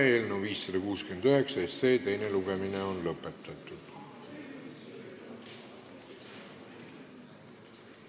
Eelnõu 569 teine lugemine on lõpetatud.